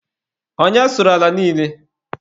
Onye sụrụ ala niile?